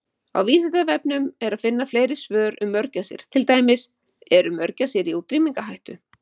Á Vísindavefnum er að finna fleiri svör um mörgæsir, til dæmis: Eru mörgæsir í útrýmingarhættu?